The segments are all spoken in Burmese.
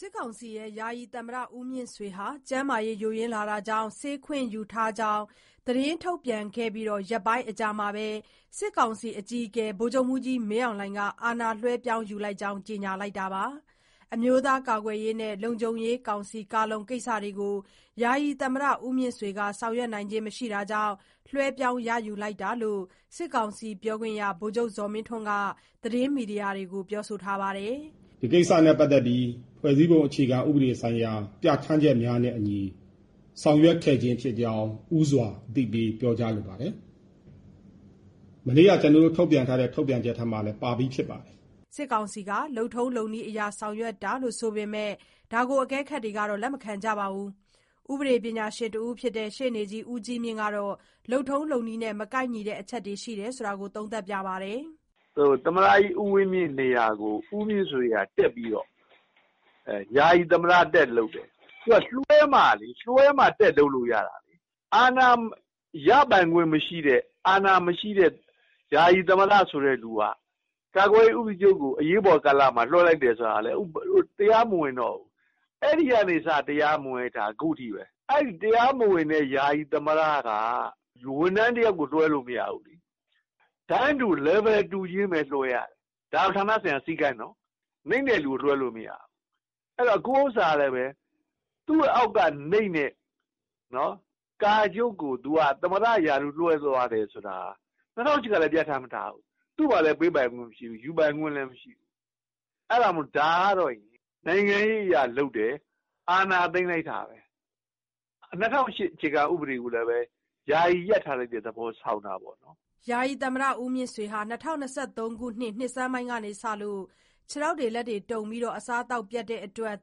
စစ်ကောင်စီ ယာယီသမ္မတ ဦးမြင့်ဆွေဟာ ကျန်းမာရေး ယိုယွင်းလာတာကြောင့် ဆေးခွင့်ယူထားကြောင်း သတင်းထုတ်ပြန်ခဲ့ပြီး ရက်ပိုင်းအကြာမှာပဲ စစ်ကောင်စီ အကြီးအကဲက အာဏာလွှဲပြောင်း ယူလိုက်ကြောင်း ကြေညာလိုက်တာပါ။ အမျိုးသားကာကွယ်ရေးနဲ့ လုံခြုံရေးကောင်စီ (ကာလုံ) ကိစ္စတွေကို ယာယီသမ္မတက ဆောင်ရွက်နိုင်ခြင်းမရှိတာကြောင့် လွှဲပြောင်းယူရတာလို့လည်း စစ်ကောင်စီ ပြောခွင့်ရ ဗိုလ်ချုပ်ဇော်မင်းထွန်း က သတင်းမီဒီယာတွေကို ပြောလိုက်ပါတယ်။ "ဒီကိစ္စနဲ့ပတ်သတ်ပြီး ဖွဲ့စည်းပုံအခြေခံဥပဒေဆိုင်ရာပြဋ္ဌာန်းချက်များနဲ့အညီ ဆောင်ရွက်ခဲ့ခြင်းဖြစ်ကြောင်းဦးစွာအသိပေးပြောကြားလိုပါတယ်။ မနေ့ကထုတ်ပြန်ချက်ထဲမှာလည်းပါပြီးဖြစ်ပါတယ်။" စစ်ကောင်စီက လုပ်ထုံးလုပ်နည်းအရ ဆောင်ရွက်တာလို့ ဆိုပေမဲ့ အကဲခတ်တွေကတော့ လက်မခံကြပါဘူး။ ဥပဒေကျွမ်းကျင်ပညာရှင်တဦးဖြစ်တဲ့ရှေ့နေ ဦးကြီးမြင့် ကတော့ လုပ်ထုံးလုပ်နည်းနဲ့ မကိုက်ညီတဲ့ အချက်တွေ ရှိတယ်လို့ သုံးသပ်ပါတယ်။ "သမ္မတကြီးဦးဝင်းမြင့်နေရာကို ဦးမြင့်ဆွေကတက်ပြီးတော့ ယာယီသမ္မတတက်လုပ်တယ်။ လွှဲမှတက် လုပ်လို့ရမှာလေ။ အာဏာရပိုင်ခွင့်မရှိတဲ့ အာဏာမရှိတဲ့ ယာယီသမ္မတဆိုတဲ့သူက ကာကွယ်ရေးဦးစီးချုပ်ကို အရေးပေါ်ကာလလွှဲတယ်ဆိုတာက တရားမဝင်တော့ဘူး။ အဲဒီကနေစ တရားမဝင်တာ ခုထိဘဲ။ နောက် တရားမဝင်တဲ့ ယာယီသမ္မတက ဝန်ထမ်းတယောက်ကိုအာဏာလွှဲမရဘူး။ တန်းတူ လယ်ဗယ် တူချင်းဘဲလွှဲရတယ်။ ဒါဌာနဆိုင်ရာစည်းကမ်းနော် နိမ့်တဲ့သူလွှဲမရဘူး ခုဥစ္စာကလည်း သူအောက်ကနိမ့်တဲ့ ကာချုပ်ကိုသမ္မတရာထူးလွှဲတယ်ဆိုတာက ၂၀၀၈ကလည်းပြဌာန်းမထားဘူး။ သူ့မှာပေးခွင့်လည်း မရှိဘူး ယူပိုင်ခွင့်လည်းမရှိဘူး။ ဒါကနိုင်ငံရေးအရလုပ်တယ်။ အာဏာသိမ်းတဲ့သဘောဘဲ ၂၀၀၈ဖွဲ့စည်း ပုံကိုယာယီရပ်ထားတဲ့သဘောဆောင်တာပေါ့" ဦးမြင့်ဆွေဟာ ၂၀၂၃ နှစ်ဆန်းပိုင်းကစပြီး ခြေလက်တုန်ပြီး အစားအသောက်ပျက်တဲ့ အတွက်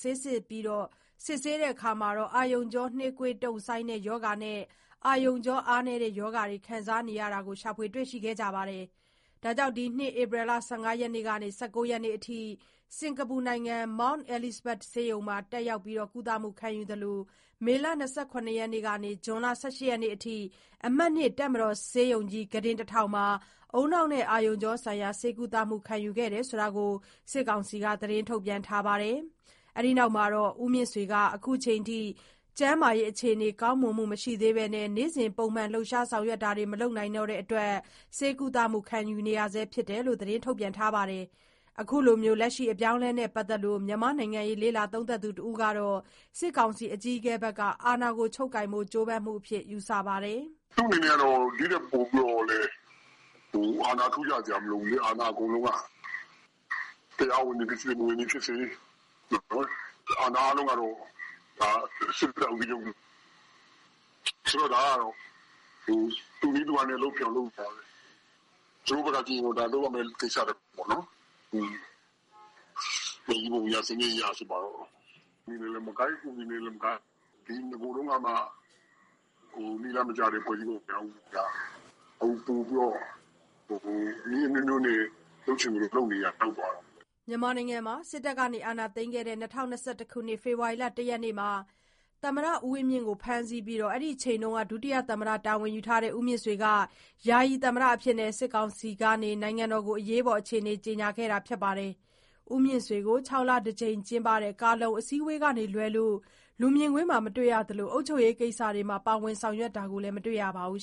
ဆေးစစ်ရာမှာ အာရုံကြော နှေးကွေးတုံ့ဆိုင်းတဲ့ ရောဂါနဲ့ အာရုံကြောအားနည်းတဲ့ ရောဂါတွေ ခံစားနေရတာကို တွေ့ရကြောင်းနဲ့ ဒီနှစ် ဧပြီ ၁၅ ကနေ ၁၉ ရက်နေ့ အထိ စင်္ကာပူနိုင်ငံ Mount Elizabeth ဆေးရုံနဲ့ မေလ ၂၇ ရက်နေ့မှ ဇွန် ၁၈ ရက်နေ့အထိ အမှတ် ၂ တပ်မတော်ဆေးရုံကြီး ကုတင် ၁၀၀၀ မှာ ဦးနှောက်နဲ့အာရုံကြော ဆိုင်ရာ ဆေးကုသမှုခံယူခဲ့ရတယ်လို့ စစ်ကောင်စီက သတင်းထုတ်ပြန်ထားပါတယ်။ ဦးမြင့်ဆွေဟာ အခုချိန်အထိ ကျန်းမာရေးအခြေနေ ကောင်းမွန်မှု မရှိသေးပဲ နေ့စဉ်လှုပ်ရှားဆောင် ရွက်မှုတွေ မလုပ်နိုင်တဲ့ အတွက် ဆေးကုသမှုခံယူနေရဆဲလို့လည်း ပြောပါတယ်။ လက်ရှိအပြောင်းအလဲနဲ့ပတ်သတ်လို့ မြန်မာ့နိုင်ငံရေးလေ့လာသုံးသပ်သူတဦးကတော့ စစ်ကောင်စီ အကြီးအကဲရဲ့ အာဏာကို ချုပ်ကိုင်ဖို့ ကြိုးပမ်းမှုအဖြစ် ယူဆပါတယ်။ "သူ့အနေနဲ့ ဒီထပ်ပိုပြီးတော့လည်း အာဏာအထူးရစရာမလိုဘူးလေအာဏာအကုန်လုံးက တရားဝင်တယ်ဖြစ်စေ မဝင်သည်ဖြစ်စေ အာဏာအားလုံးကတော့စစ်တပ်ကာကွယ်ရေးဦးစီးချုပ်လက်ထဲမှာဘဲ။ ဒါကသူ့နည်းသူ့ဟန်နဲ့လုပ်တဲ့သဘောပါဘဲ။ သူတို့ဘက်ကကြည့်ရင်ဒါလုပ်ရမယ့်ကိစ္စပေါ့။ ဖွဲ့စည်းပုံအရ ဆိုပါတော့ နည်းလမ်းနဲ့လည်းမကိုက်ဥပဒေနဲ့လည်းမကိုက် နဂိုထဲကမှနည်းလမ်းမကျတဲ့ဖွဲ့စည်းပုံက ခုက နည်းအမျိုးမျိုးနဲ့လုပ်ချင်သလိုလုပ်တဲ့သဘောရောက်သွားတာပေါ့ " မြန်မာနိုင်ငံမှာ စစ်တပ်အာဏာသိမ်းခဲ့တဲ့ ၂၀၂၁ ဖေဖေါ်ဝါရီလ ၁ ရက်နေ့မှာ သမ္မတဦးဝင်းမြင့်ကို ဖမ်းဆီးပြီး အဲဒီအချိန်က ဒုသမ္မတတာဝန် ယူထားတဲ့ ဦးမြင့်ဆွေက ယာယီ သမ္မတအဖြစ်နဲ့ စစ်ကောင်စီက နိုင်ငံတော်ကို အရေးပေါ်အခြေနေ ကြေညာခဲ့တာ ဖြစ်ပါတယ်။ ဦးမြင့်ဆွေကို ၆ လတကြိမ် ကျင်းပတဲ့ ကာ/လုံအစည်းဝေးက လွဲလို့ လူမြင်ကွင်းမှာ မတွေ့ရသလို အုပ်ချုပ်ရေး ကိစ္စတွေမှာ ပါဝင်တာလည်း မတွေ့ရပါဘူး